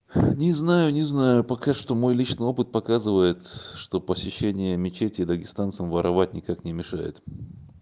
не знаю не знаю пока что мой личный опыт показывает что посещение мечети дагестанцам воровать никак не мешает